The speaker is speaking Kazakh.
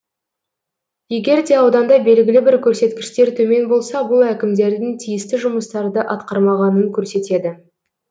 егер де ауданда белгілі бір көрсеткіштер төмен болса бұл әкімдердің тиісті жұмыстарды атқармағанын көрсетеді